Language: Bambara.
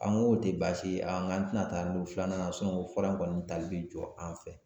An k'o tɛ baasi ye an tɛna taa an don filanan na fura in kɔni tali bɛ jɔ an fɛ